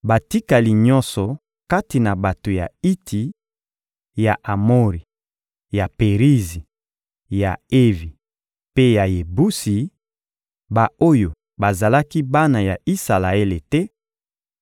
Batikali nyonso kati na bato ya Iti, ya Amori, ya Perizi, ya Evi mpe ya Yebusi, ba-oyo bazalaki bana ya Isalaele te,